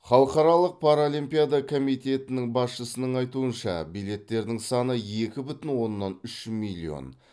халықаралық паралимпиада комитетінің басшысының айтуынша билеттердің саны екі бүтін оннан үш миллион